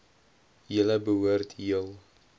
julle behoort heel